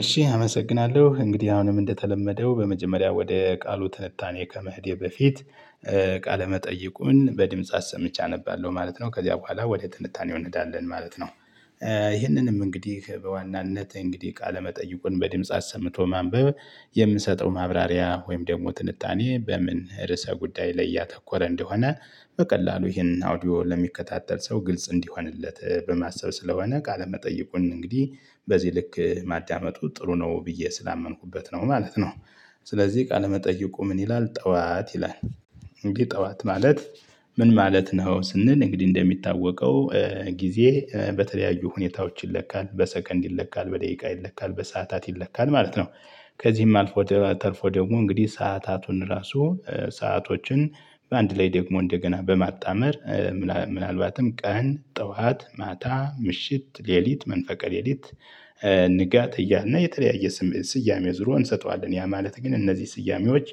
እሺ አመሰግናለሁ እንግዲህ አሁንም እንደተለመደው በመጀመሪያ ወደ ቃሉ ትንታኔ ከመሄዴ በፊት ቃለመጠይቁን በድምጽ አሰምቼ አነባለሁ ማለት ነው ከዚያ በኋላ ወደ ትንታኔው እንሄዳለን ማለት ነው። ይሄንንም እንግዲህ በዋናነት እንግዲህ ቃለመጠይቁን በድምጽ አሰምቶ ማንበብ የምንሰጠው ማብራሪያ ወይም ደግሞ ትንታኔ በምን ርዕሰ ጉዳይ ላይ ያተኮረ እንደሆነ በቀላሉ ይህንን አውዲዮ ለሚከታተል ሰው ግልጽ እንዲሆንለት በማሰብ ስለሆነ ቃለመጠየቁን እንግዲህ በዚህ ልክ ማዳመጡ ጥሩ ነው ብዬ ስላመንኩበት ነው ማለት ነው። ስለዚህ ቃለመጠየቁ ምን ይላል ጠዋት ይላል። እንግዲ ጠዋት ማለት ምን ማለት ነው? ስንል እንግዲህ እንደሚታወቀው ጊዜ በተለያዩ ሁኔታዎች ይለካል በሰከንድ ይለካል በደቂቃ ይለካል በሰአታት ይለካል ማለት ነው። ከዚህም አልፎ ተርፎ ደግሞ እንግዲህ ሰአታቱን ራሱ ሰአቶችን በአንድ ላይ ደግሞ እንደገና በማጣመር ምናልባትም ቀን ጠዋት ማታ ምሽት ሌሊት መንፈቀ ሌሊት። ንጋት እያልን የተለያየ ስሜት ስያሜ ዙሮ እንሰጠዋለን ያ ማለት ግን እነዚህ ስያሜዎች።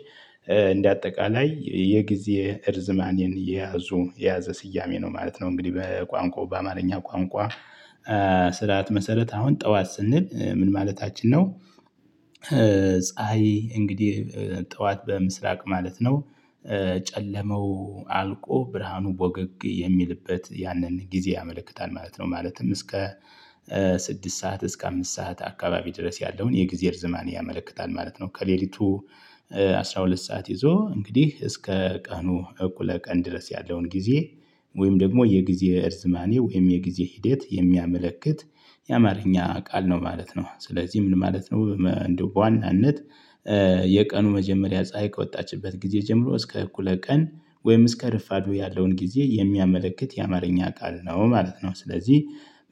እንደ አጠቃላይ የጊዜ እርዝማኔን የያዙ የያዘ ስያሜ ነው ማለት ነው። እንግዲህ በቋንቋው በአማርኛ ቋንቋ ስርዓት መሰረት አሁን ጠዋት ስንል ምን ማለታችን ነው? ፀሀይ እንግዲህ ጠዋት በምስራቅ ማለት ነው። ጨለመው አልቆ ብርሃኑ ወገግ የሚልበት ያንን ጊዜ ያመለክታል ማለት ነው። ማለትም እስከ ስድስት ሰዓት እስከ አምስት ሰዓት አካባቢ ድረስ ያለውን የጊዜ እርዝማኔ ያመለክታል ማለት ነው። ከሌሊቱ አስራ ሁለት ሰዓት ይዞ እንግዲህ እስከ ቀኑ እኩለ ቀን ድረስ ያለውን ጊዜ። ወይም ደግሞ የጊዜ እርዝማኔ ወይም የጊዜ ሂደት የሚያመለክት የአማርኛ ቃል ነው ማለት ነው። ስለዚህ ምን ማለት ነው? እንደው በዋናነት የቀኑ መጀመሪያ ፀሀይ ከወጣችበት ጊዜ ጀምሮ እስከ እኩለ ቀን ወይም እስከ ረፋዱ ያለውን ጊዜ የሚያመለክት የአማርኛ ቃል ነው ማለት ነው። ስለዚህ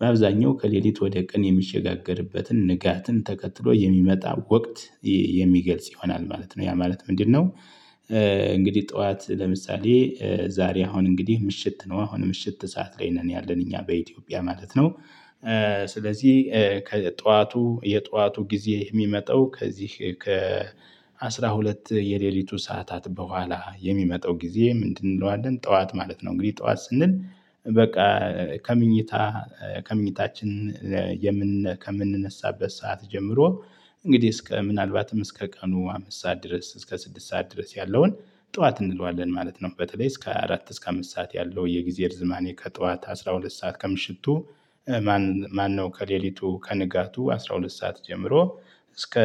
በአብዛኛው ከሌሊት ወደ ቀን የሚሸጋገርበትን ንጋትን ተከትሎ የሚመጣ ወቅት የሚገልጽ ይሆናል ማለት ነው። ያ ማለት ምንድነው? እንግዲህ ጠዋት ለምሳሌ ዛሬ አሁን እንግዲህ ምሽት ነው አሁን ምሽት ሰዓት ላይ ነን ያለን እኛ በኢትዮጵያ ማለት ነው። ስለዚህ ከጠዋቱ የጠዋቱ ጊዜ የሚመጣው ከዚህ አስራ ሁለት የሌሊቱ ሰዓታት በኋላ የሚመጣው ጊዜ ምንድን እንለዋለን ጠዋት ማለት ነው። እንግዲህ ጠዋት ስንል በቃ ከመኝታ ከመኝታችን የምን ከምንነሳበት ሰዓት ጀምሮ እንግዲህ እስከ ምናልባትም እስከ ቀኑ አምስት ሰዓት ድረስ እስከ ስድስት ሰዓት ድረስ ያለውን ጠዋት እንለዋለን ማለት ነው። በተለይ እስከ አራት እስከ አምስት ሰዓት ያለው የጊዜ እርዝማኔ ከጠዋት አስራ ሁለት ሰዓት ከምሽቱ ማነው ከሌሊቱ ከንጋቱ አስራ ሁለት ሰዓት ጀምሮ እስከ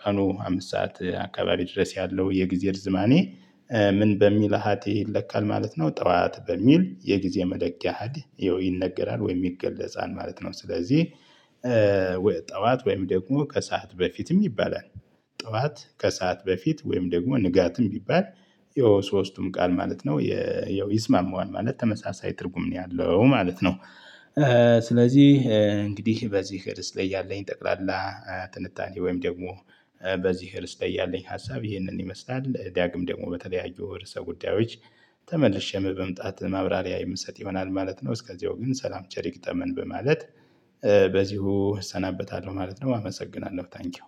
ቀኑ አምስት ሰዓት አካባቢ ድረስ ያለው የጊዜ እርዝማኔ። ምን በሚል ኃጢ ይለካል ማለት ነው። ጠዋት በሚል የጊዜ መደቂያ አሀድ ያው ይነገራል ወይም ይገለጻል ማለት ነው። ስለዚህ ጠዋት ወይም ደግሞ ከሰአት በፊትም ይባላል። ጠዋት ከሰአት በፊት ወይም ደግሞ ንጋትም ቢባል የሶስቱም ቃል ማለት ነው ይስማማዋል ማለት ተመሳሳይ ትርጉም ነው ያለው ማለት ነው። ስለዚህ እንግዲህ በዚህ ረዕስ ላይ ያለኝ ጠቅላላ ትንታኔ ወይም ደግሞ በዚህ ርዕስ ላይ ያለኝ ሀሳብ ይህንን ይመስላል ዳግም ደግሞ በተለያዩ ርዕሰ ጉዳዮች ተመልሼ በመምጣት ማብራሪያ የምሰጥ ይሆናል ማለት ነው። እስከዚያው ግን ሰላም ቸር ይግጠመን በማለት በዚሁ እሰናበታለሁ ማለት ነው። አመሰግናለሁ ታንኪው።